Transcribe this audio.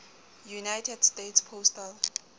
united states postal